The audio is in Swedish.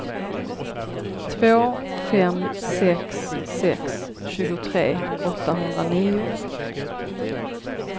två fem sex sex tjugotre åttahundranio